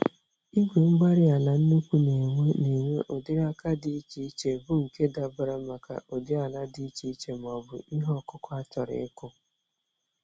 Igwe-mgbárí-ala nnukwu n'enwe n'enwe ụdịrị àkà dị iche iche, bu nke dabara maka ụdị ala dị iche iche, m'ọbụ ihe okụkụ achọrọ ịkụ